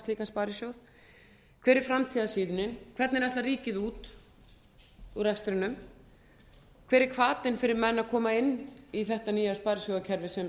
slíkan sparisjóð hver er framtíðarsýnin hvernig ætlar ríkið út úr rekstrinum hver er hvatinn fyrir menn að koma inn í þetta nýja sparisjóðakerfi sem stofnfjáreigendur